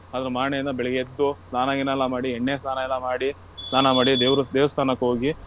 ಅದ್ರ ಮಾರ್ಣೆ ದಿನ ಬೆಳೆಗ್ಗೆ ಎದ್ದು, ಸ್ನಾನ ಗೀನಾ ಎಲ್ಲಾ ಮಾಡಿ, ಎಣ್ಣೆ ಸ್ನಾನ ಎಲ್ಲ ಮಾಡಿ, ಸ್ನಾನ ಮಾಡಿ ದೇವ್ರು ದೇವಸ್ಥಾನಕ್ಕೆ ಹೋಗಿ.